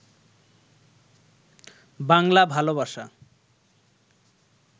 বাংলা ভালবাসা